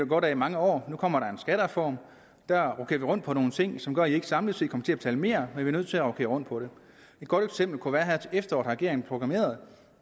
godt af i mange år nu kommer der en skattereform og der rokerer vi rundt på nogle ting som gør at i ikke samlet set kommer til at betale mere men vi er nødt til at rokere rundt på det et godt eksempel kunne være at her til efteråret har regeringen proklameret